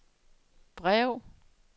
brev